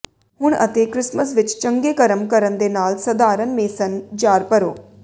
ਹੁਣ ਅਤੇ ਕ੍ਰਿਸਮਿਸ ਵਿਚ ਚੰਗੇ ਕਰਮ ਕਰਨ ਦੇ ਨਾਲ ਸਧਾਰਨ ਮੇਸਨ ਜਾਰ ਭਰੋ